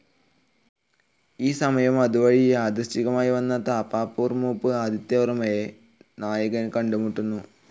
ഈ സമയം അതുവഴി യാദൃച്ഛികമായി വന്ന തൃപ്പാപ്പൂർമൂപ്പ് ആദിത്യവർമ്മയെ നായകൻ കണ്ടുമുട്ടുന്നു.